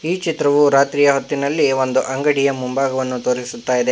ಈ ಚಿತ್ರವು ರಾತ್ರಿಯ ಹೊತ್ತಿನಲ್ಲಿ ಒಂದು ಅಂಗಡಿಯ ಮುಂಭಾಗವನ್ನು ತೋರಿಸುತ್ತಾಯಿದೆ.